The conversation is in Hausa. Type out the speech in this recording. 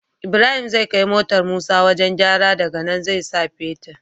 Ibrahim zai kai motar musa wajan gyara daka nan zai sa fetir